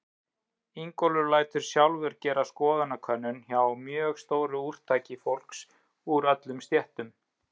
Ingólfur lætur sjálfur gera skoðanakönnun hjá mjög stóru úrtaki fólks úr öllum stéttum.